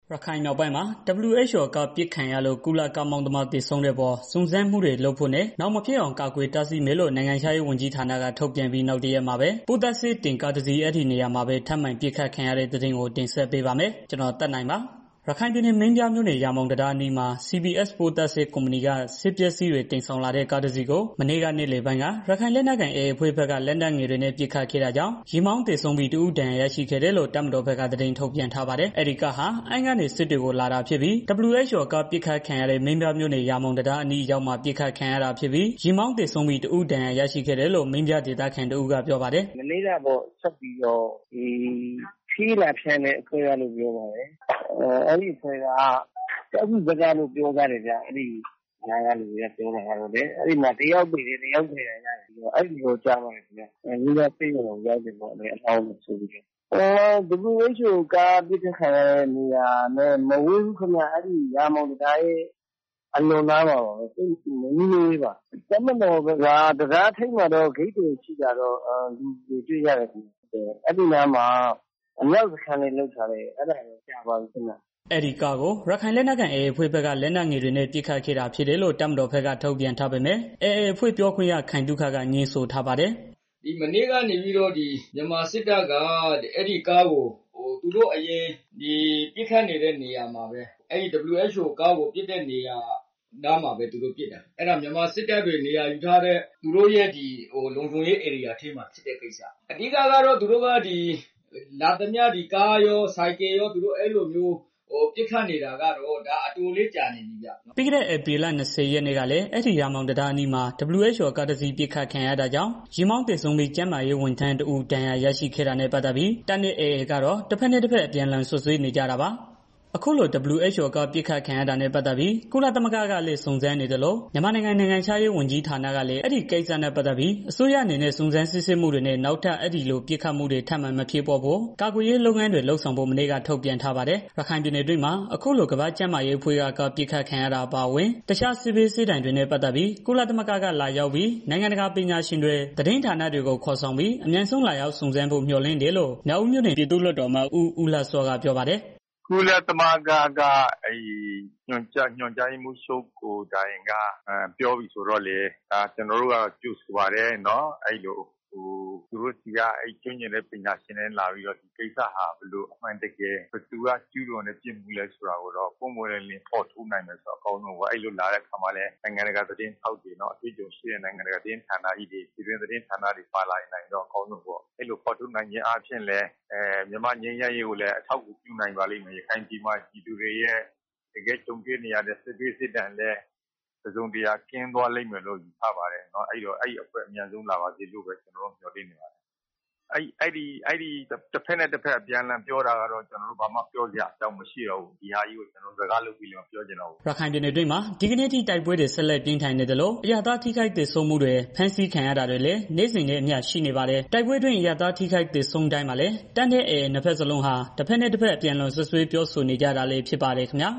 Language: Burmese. ရခိုင်မြောက်ပိုင်းမှာ WHO ကားပစ်ခံရလို့ ကုလကားမောင်းသမား သေဆုံးတဲ့အပေါ် စုံစမ်းမှုတွေလုပ်ဖို့နဲ့ နောင်မဖြစ်အောင် ကာကွယ်တားဆီးမယ်လို့ နိုင်ငံခြားရေးဝန်ကြီးဌာနက ထုတ်ပြန်ပြီး နောက်တရက်မှာပဲ ပိုးသတ်ဆေးတင်ကား တစင်း အဲဒီနေရာမှာပဲ ထပ်မံပစ်ခတ်ခံရတဲ့သတင်းကို ဗွီအိုအေမြန်မာပိုင်းသတင်းထောက် ကိုသက်နိုင်က တင်ဆက်ပေးပါမယ်။ ရခိုင်ပြည်နယ် မင်းပြားမြို့နယ် ရာမောင်တံတားအနီးမှာ CPS ပိုးသတ်ဆေး ကုမ္ပဏီက ဆေးပစ္စည်းတွေ တင်ဆောင်လာတဲ့ ကားတစ်စီးကို မနေ့က နေ့လည်ပိုင်းက ရခိုင်လက်နက်ကိုင် AA အဖွဲ့ဘက်က လက်နက်ငယ်တွေနဲ့ ပစ်ခတ်ခဲ့တာကြောင့် ယာဉ်မောင်းသေဆုံးပြီး တစ်ဦးဒဏ်ရာ ရရှိခဲ့တယ်လို့ တပ်မတော်ဘက်က ထုတ်ပြန်ထားပါတယ်။ အဲဒီကားဟာ အမ်းကနေ စစ်တွေမြို့ကို လာတာဖြစ်ပြီး WHO ကားပစ်ခတ်ခံရတဲ့ မင်းပြားမြို့နယ် ရာမောင်တံတားအနီးအရောက်မှာ ပစ်ခတ်ခံရတာဖြစ်ပြီး ယာဉ်မောင်းသေဆုံးပြီး တစ်ဦး ဒဏ်ရာ ရရှိခဲ့တယ်လို့ မင်းပြားဒေသခံတစ်ဦးက ပြောပါတယ်။ "မနေ့ကပေါ့ ဆေးလာပို့တဲ့ အဖွဲ့လို့ ပြောတယ်။ ကျောက်ဖြူဘက်က လာတာပေါ့။ အဲဒီမှာ တစ်ယောက်သေတယ်၊ တစ်ယောက်ဒဏ်ရာရတယ်လို့ ကြားတယ်။ မင်းပြားဆေးရုံမှာပေါ့။ WHO ကားပစ်ခတ်ခံရတဲ့နေရာနဲ့ သိပ်မဝေးဘူးဗျာ။ ရာမောင်တံတားရဲ့ ထပ်နားမှာပဲဗျာ။ တပ်မတော်ဘက်က တံတားထိပ်မှာတော့ ဂိတ်တွေ ရှိတာတော့ တွေ့ရတယ်။ အဲဒီအနားမှာ အမြောက်တပ်တွေလည်း ရှိတယ်ဗျာ အဲတာတော့ကြာပြီဗျာ။" အဲဒီကားကို ရခိုင်လက်နက်ကိုင် AA အဖွဲ့ဘက်က လက်နက်ငယ်တွေနဲ့ ပစ်ခတ်ခဲ့တာဖြစ်တယ်လို့ တပ်မတော်ဘက်က ထုတ်ပြန်ထားပေမဲ့ AA အဖွဲ့ ပြောခွင့်ရ ခိုင်သုခက ငြင်းဆိုထားပါတယ်။ "မနေ့ကနေပြီးတော့ ဒီ မြန်မာစစ်တပ်က အဲဒီကားကို သူတို့အယင် ပစ်ခတ်နေတဲ့ နေရာမှာပဲ WHO ကားကို ပစ်တဲ့နေရာမှာပဲ အဲဒီကားကို သူတို့ပစ်တာ အဲဒီနေရာက မြန်မာစစ်တပ်တွေ နေရာယူထားတဲ့ သူတို့ရဲ့ လုံခြုံရေးဧရိယာထဲမှာ ဖြစ်တဲ့ ကိစ္စ။ အဓိကတော့ မြန်မာစစ်တပ်ဘက်က လာသမျှ ကားရော၊ ဆိုင်ကယ်ရောကို ပစ်ခတ်နေတာက အတော်လေး ကြာပြီဗျာ။" ပြီးခဲ့ ဧပြီလ ၂၀ ရက်နေ့ကလည်း အဲဒီရာမောင်တံတားအနီးမှာ WHO ကားတစ်စီး ပစ်ခတ်ခံရတာကြောင့် ယာဉ်မောင်သေဆုံးပြီး ကျန်းမာရေးဝန်ထမ်းတစ်ဦး ဒဏ်ရာရရှိခဲ့တာနဲ့ ပတ်သတ်ပြီး တပ်နဲ့ AA ကတော့ တစ်ဘက်နဲ့ တစ်ဘက် အပြန်အလှန်စွပ်စွဲနေကြတာပါ။ အခုလို WHO ကားပစ်ခတ်ခံရတာနဲ့ပတ်သတ်ပြီး ကုလသမဂ္ဂက ကလည်း စုံစမ်းနေသလို မြန်မာနိုင်ငံ နိုင်ငံခြားရေး ဝန်ကြီးဌာနကလည်း အဲဒီကိစ္စနဲ့ ပတ်သတ်ပြီး အစိုးရအနေနဲ့ စုံးစမ်းစစ်ဆေးမှုတွေနဲ့ နောက်ထပ် အဲဒီလို ပစ်ခတ်မှုတွေ ထပ်မံမဖြစ်ပွားဖို့ ကာကွယ်ရေးလုပ်ငန်းတွေ လုပ်ဆောင်ဖို့ မနေ့က ထုတ်ပြန်ထားပါတယ်။ ရခိုင်ပြည်နယ်အတွင်းမှာ အခုလို ကမ္ဘာ့ကျန်းမာရေးအဖွဲ့က ကားပစ်ခတ်ခံရတာအပါအဝင် တစ်ခြားစစ်ဘေး စစ်ဒဏ်တွေနဲ့ ပတ်သတ်ပြီး ကုလသမဂ္ဂက လာရောက်ပြီး နိုင်ငံတကာပညာရှင်တွေ သတင်းဌာနတွေကို ခေါ်ဆောင်ပြီး အမြန်ဆုံးလာရောက်စုံစမ်းဖို့ကို မျှော်လင့်တယ်လို့ မြောက်ဦးမြို့နယ် ပြည်သူ့လွှတ်တော်ကိုယ်စားလှယ် ဦးလှစောကပြောပါတယ်။ "ကုလသမဂ္ဂက ညွန်ကြားရေးမှူးချုပ်ကိုယ်တိုင်က ပြောပြီဆိုတော့လည်း ကျနော်တို့ကတော့ ကြိုဆိုပါတယ်။ သူတို့ဆီက ကျွမ်းကျင်တဲ့ ပညာချင်တွေ လာပြီ ဒီကိစ္စဟာအမှန်တကယ် ဘယ်သူက ကျူးလွန်းတယ်ဆိုတာကို ပွင့်ပွင့်လင့်လင့် ဖော်ထုတ်နိုင်မယ် ဆိုရင်တော့ အကောင်းဆုံးပေါ့။ လာတဲ့ အခါမှာလည်း နိုင်ငံတကာက သတင်းထောက်တွေ အတွေ့အကြုံရှိတဲ့ သတင်းဌာနတွေ ပါလာနိုင်ရင်တော့ အကောင်းဆုံးပဲ။ ဖော်ထုတ် နိုင်ခြင်းအားဖြင့် မြန်မာနိုင်ငံရဲ့ ငြိမ်းချမ်းရေးကို လည်း အထောက်အကူပြုနိုင်ပါလိမ့်မယ်။ ရခိုင်ပြည်မှာ ပြည်သူတွေ ကြုံတွေနေ ရတဲ့ စစ်ဘေးစစ်ဒဏ်ကို တစ်စုံတစ်ရာ ရှင်းသွားလိမ့်မယ်လို့ ထင်တယ်။ အဲဒီအဖွဲ့ အမြန်လာပါစေလို့ ကျနော်တို့ မျှော်လင့်ပါတယ်။ တစ်ဘက်နဲ့ တစ်ဘက် အပြန်အလှန်စွပ်စွဲနေတာကိုတော့ ကျနော်တို့ စကားလုပ်ပြီးလည်း ပြောစရာအကြောင်းမရှိတော့ဘူး။" ရခိုင်ပြည်နယ်အတွင်းမှာ ဒီကနေ့အထိ တိုက်ပွဲတွေ ဆက်လက်ပြင်းထန်နေသလို အရပ်သားထိခိုက်သေဆုံးမှုတွေ ဖမ်းဆီးခံရတာတွေဟာလည်း နေ့စဉ်နဲ့ အမျှရှိနေပါတယ်။ တိုက်ပွဲအတွင်းအရပ်သားတွေ ထိခိုက်သေဆုံးတိုင်းမှာလည်း တပ်နဲ့ AA နှစ်ဘက်စလုံးဟာ တစ်ဘက်နဲ့ တစ်ဘက် အပြန်အလှန် စွပ်စွဲပြောဆိုနေကြတာလည်း ဖြစ်ပါတယ်ခင်ဗျာ